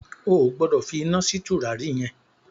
O gbọ́dọ̀ fi iná sí tùràrí yẹn!